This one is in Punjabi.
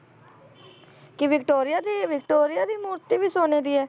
ਕੀ ਵਿਕਟੋਰੀਆ ਦੀ, ਵਿਕਟੋਰੀਆ ਦੀ ਮੂਰਤੀ ਵੀ ਸੋਨੇ ਦੀ ਹੈ।